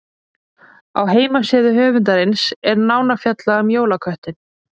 Á heimasíðu höfundarins er nánar fjallað um jólaköttinn.